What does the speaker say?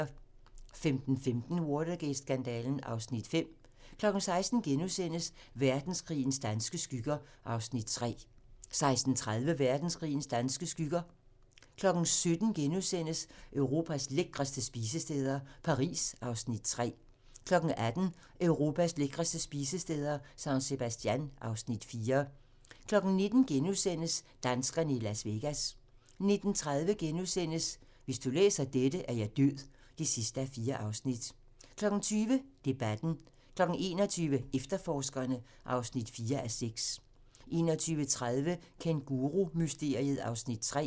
15:15: Watergate-skandalen (Afs. 5) 16:00: Verdenskrigens danske skygger (Afs. 3)* 16:30: Verdenskrigens danske skygger 17:00: Europas lækreste spisesteder - Paris (Afs. 3)* 18:00: Europas lækreste spisesteder - San Sebastian (Afs. 4) 19:00: Danskerne i Las Vegas * 19:30: Hvis du læser dette, er jeg død (4:4)* 20:00: Debatten 21:00: Efterforskerne (4:6) 21:30: Kængurumysteriet (Afs. 3)